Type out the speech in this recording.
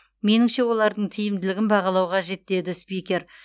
меніңше олардың тиімділігін бағалау қажет деді спикер